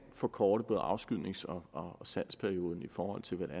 forkorte både afskydnings og salgsperioden i forhold til hvordan